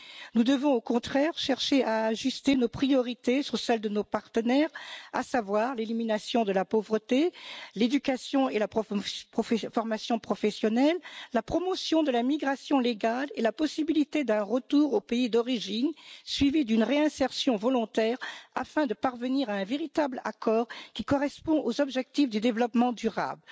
Nous devons au contraire chercher à ajuster nos priorités sur celle de nos partenaires l'élimination de la pauvreté, l'éducation et la formation professionnelle, la promotion de la migration légale et la possibilité d'un retour au pays d'origine suivi d'une réinsertion volontaire afin de parvenir à un véritable accord qui corresponde aux objectifs du développement durable.